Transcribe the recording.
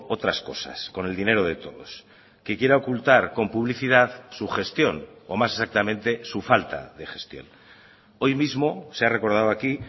otras cosas con el dinero de todos que quiera ocultar con publicidad su gestión o más exactamente su falta de gestión hoy mismo se ha recordado aquí